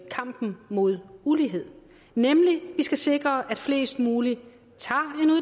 kampen mod ulighed nemlig at vi skal sikre at flest mulige